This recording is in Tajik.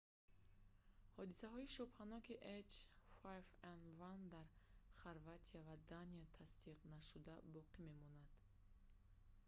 ҳодисаҳои шубҳаноки h5n1 дар хорватия ва дания тасдиқнашуда боқӣ мемонанд